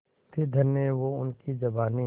थी धन्य वो उनकी जवानी